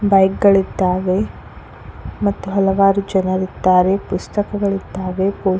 bike ಗಳಿದ್ದಾವೆ ಮತ್ತು ಹಲವಾರು ಜನಗಳಿದ್ದಾರೆ ಪುಸ್ತಕಗಳಿದ್ದಾವೆ ಪೋಸ್ಟ್ --